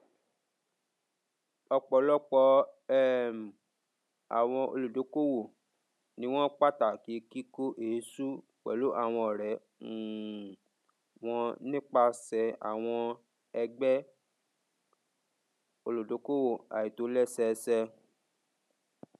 ọpọlọpọ um àwọn olùdókòwò ni wọn pàtàkì kíkó èésú pẹlú àwọn ọrẹ um wọn nípasẹ àwọn ẹgbẹ olùdókòwò àìtòlẹsẹẹsẹ